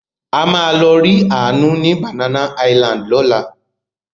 A máa lọ rí Àánú ní Banana Island lọ́la.